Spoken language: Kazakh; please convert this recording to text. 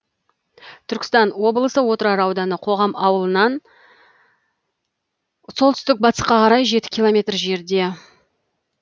түркістан облысы отырар ауданы қоғам ауылынаннан солтүстік батысқа қарай жеті километр жерде